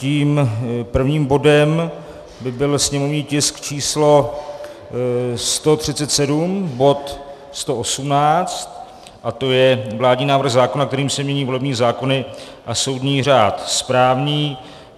Tím prvním bodem by byl sněmovní tisk číslo 137, bod 118, a to je vládní návrh zákona, kterým se mění volební zákony a soudní řád správní.